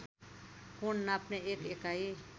कोण नाप्ने एक एकाई